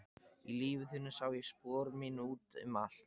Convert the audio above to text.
Í lífi þínu sá ég spor mín út um allt.